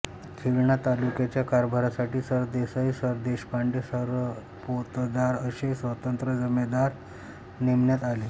खिळणा तालुक्याच्या कारभारासाठी सरदेसाई सरदेशपांडे सरपोतदार असे स्वतंत्र जमेदार नेमण्यात आले